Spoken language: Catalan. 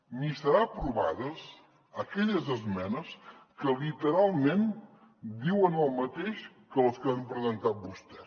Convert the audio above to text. ni seran aprovades aquelles esmenes que literalment diuen el mateix que les que ha presentat vostè